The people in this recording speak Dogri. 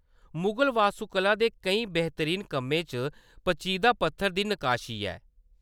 मुगल वास्तुकला दे केईं बेहतरीन कम्में च पचीदा पत्थर दी नकाशी ऐ।